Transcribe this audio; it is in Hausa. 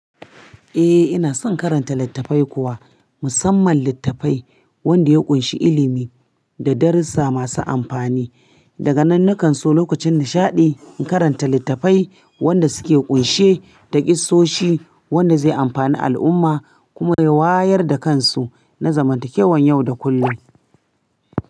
Eh ina son karanta littafai kuwa, musamman littafai wanda ya ƙunshi ilimi da darussa masu amfani. Daga nan na kan so lokacin nishaɗi in karanta littafai wanda suke ƙunshe da ƙisosi wanda zai amfani al'umma kuma ya wayar da kansu na zamantakewan yau da kullum.